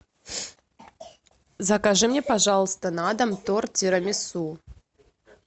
закажи мне пожалуйста на дом торт тирамису